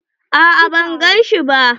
A'a ban gan shi ba.